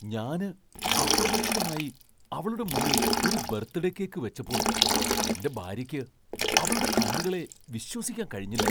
ഞാന് അപ്രതീക്ഷിതമായി അവളുടെ മുന്നിൽ ഒരു ബർത്ത്ഡേ കേക്ക് വെച്ചപ്പോൾ എന്റെ ഭാര്യയ്ക്ക് അവളുടെ കണ്ണുകളെ വിശ്വസിക്കാൻ കഴിഞ്ഞില്ല.